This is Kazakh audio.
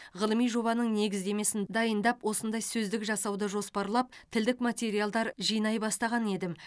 ғылыми жобаның негіздемесін дайындап осындай сөздік жасауды жоспарлап тілдік материалдар жинай бастаған едім